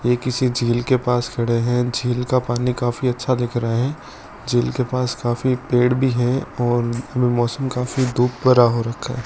ये किसी झील के पास खड़े हैं झील का पानी काफी अच्छा दिख रहा है झील के पास काफी पेड़ भी हैं और मौसम काफी धूप भरा हो रखा है।